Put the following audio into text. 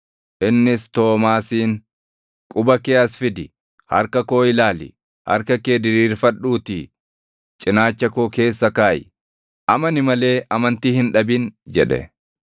Innis Toomaasiin, “Quba kee as fidi; harka koo ilaali. Harka kee diriirfadhuutii cinaacha koo keessa kaaʼi. Amani malee amantii hin dhabin” jedhe.